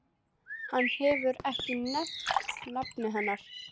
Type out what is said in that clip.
Hann hefur ekki nefnt nafn hennar.